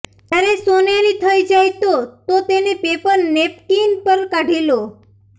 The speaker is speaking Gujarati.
જ્યારે સોનેરી થઈ જાય તો તો તેને પેપર નેપકિન પર કાઢી લો